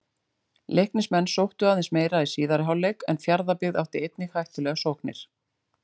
Leiknismenn sóttu aðeins meira í síðari hálfleik en Fjarðabyggð átti einnig hættulegar sóknir.